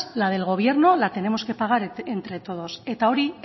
la del gobierno la tenemos que pagar entre todos eta hori